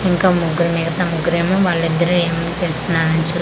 ఇంకా ముగ్గరు మిగతా ముగ్గరు ఏమో వాళ్లు ఇద్దరూ ఏమో చేస్తున్నారు చో--